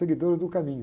Seguidores do caminho.